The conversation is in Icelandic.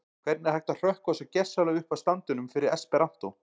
Hvernig er hægt að hrökkva svo gersamlega upp af standinum fyrir esperantó?